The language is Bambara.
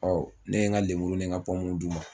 ne ye n ka lenmuru ni ka d'u ma